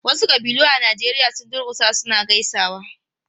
Wasu ƙabilu a Najeriya sun durkusa suna gaisawa.